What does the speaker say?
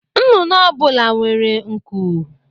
Nnụnụ ọ bụla nwere nku